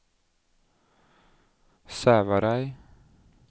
Sævareid